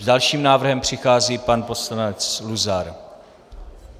S dalším návrhem přichází pan poslanec Luzar.